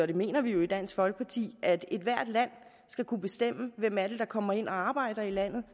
det mener vi jo i dansk folkeparti at ethvert land skal kunne bestemme hvem det er der kommer ind og arbejder i landet